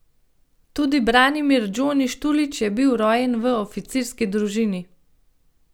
Tudi Branimir Džoni Štulić je bil rojen v oficirski družini.